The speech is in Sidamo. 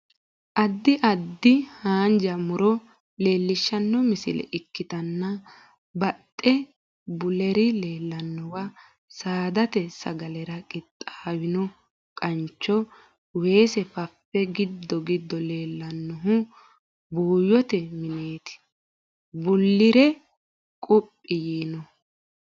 Addi addi haanja mu'ro leellishshanno misile ikkitanna baaxxe bullire leellannowa saadate sagalera qixxaawino qancho, weese, fafe giddo giddo leellannohu buuyyote mineeti bullire quphi yiinohu.